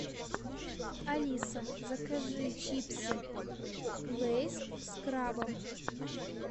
алиса закажи чипсы лейс с крабом